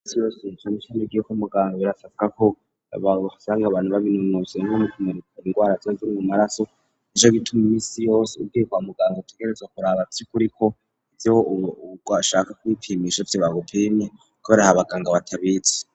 Imisi yose uvyutse, iyo ugiye ku muganga birasabwa ko bahasanga abantu babiminuje nko mu kumurika ingwara ziba ziri mu maraso, nico gituma imisi yose ugiye kwa muganga utegerezwa kuraba vy'ukuri ko ivyo washaka kwipimisha arivyo bagupimye, kubera hari abaganga batabizi.